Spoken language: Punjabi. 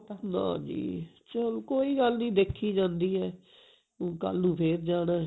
ਨਾ ਜੀ ਚੱਲ ਕੋਈ ਗੱਲ ਨਹੀਂ ਦੇਖੀ ਜਾਂਦੀ ਐ ਹੁਣ ਕੱਲ ਨੂੰ ਫੇਰ ਜਣਾ